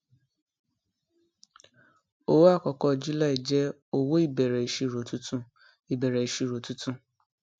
owó àkọkọ july jẹ owó ìbẹrẹ ìṣirò tuntun ìbẹrẹ ìṣirò tuntun